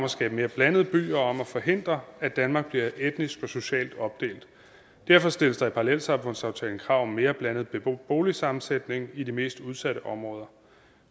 at skabe mere blandede byer og om at forhindre at danmark bliver etnisk og socialt opdelt derfor stilles der i parallelsamfundsaftalen krav om en mere blandet boligsammensætning i de mest udsatte områder